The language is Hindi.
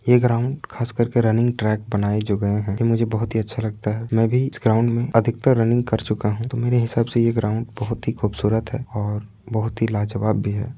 ए ग्राउन्ड खास करके रनिंग ट्रैक बनाए जो गए है कि मुझे बोहोत ही अच्छा लगता है मे भी ग्राउन्ड मे अधिकतर रनिंग कर चुका हूं मेरे हिसाब से यह ग्राउन्ड बोहोत ही खूबसूरत है और बोहोत ही लाजवाब भी है।